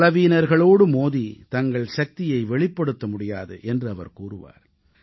பலவீனவர்களோடு மோதி தங்கள் சக்தியை வெளிப்படுத்த முடியாது என்று அவர் கூறுவார்